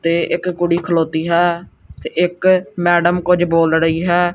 ਤੇ ਇੱਕ ਕੁੜੀ ਖਲੋਤੀ ਹੈ ਤੇ ਇੱਕ ਮੈਡਮ ਕੁਝ ਬੋਲ ੜਹੀ ਹੈ।